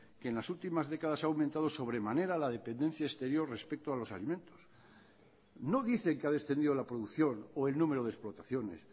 que en las últimas décadas ha aumentado sobremanera la dependencia exterior respecto a los alimentos no dice que ha descendido la producción o el número de explotaciones